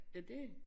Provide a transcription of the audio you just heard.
Ja det